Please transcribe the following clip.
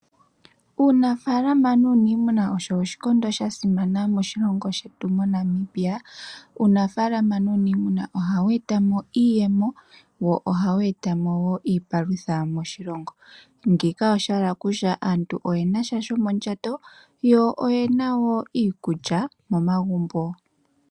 Uunafaalama nuuniimuna osho oshikondo sha simana moshilongo shetu mo Namibia. Uunafaalama nuuniimuna ohawu eta mo iiyemo, wo ohawu eta mo wo iipalutha moshilongo, ngeyika osha hala okutya aantu oyena sha shomondjato yo oyena woo iikulya momagumbo.